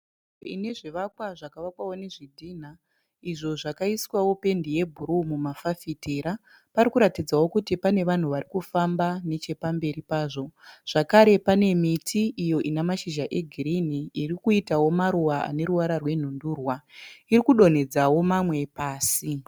Ine zvivakwa zvakavakwao nezvidhinha izvo zvakaiswao pendi yebhuruu mumafafitera. Parikuratidzao kuti pane vanhu varikufamba nechepamberi pazvo. Zvakare pane miti iyo ina mashizha egirini irikuitao maruva ane ruvara rwenhundurwa. Iri kudonhedzao mamwe pasi.